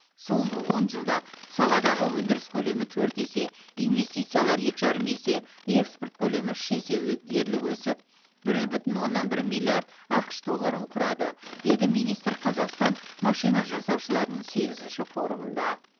соңғы он жылда саладағы өндіріс көлемі төрт есе инвестициялар екі жарым есе экспорт көлемі үш есе ө дерлік өсіп бір бүтін оннан бір миллиард ақш долларын құрады деді министр қазақстан машина жасаушыларының сегізінші форумында